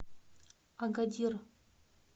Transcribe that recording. агадир